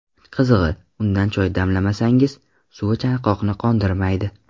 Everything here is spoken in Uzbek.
Qizig‘i, undan choy damlamasangiz, suvi chanqoqni qondirmaydi.